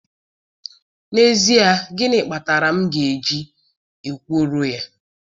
N'ezie, gịnị kpatara m ga-eji ekworo ya.